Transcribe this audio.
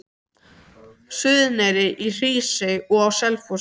Suðureyri, í Hrísey og á Selfossi.